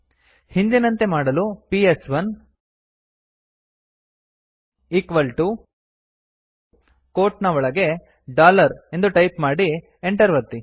ಹಿಂದಿನಂತೆ ಮಾಡಲು P S one equal T O quote ನ್ ಒಳಗೆ ಡಾಲರ್ ಎಂದು ಟೈಪ್ ಮಾಡಿ Enter ಒತ್ತಿ